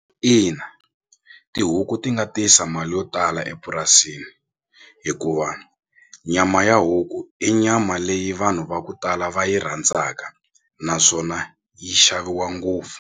Ina tihuku ti nga tisa mali yo tala epurasini hikuva nyama ya huku i nyama leyi vanhu va ku tala va yi rhandzaka naswona yi xaviwa ngopfu.